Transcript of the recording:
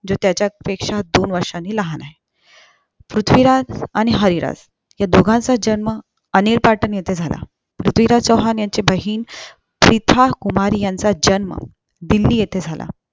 जो त्याच्या पेक्षा दोन वर्षांनी लहान आहे पृथ्वीराज आणि हरिराज ह्या दोघांचा जन्म अनिल पाठन येते झाला पृथ्वीराज चौहान यांची बहीण कुमारी यांचा जंन्म दिल्ली येथे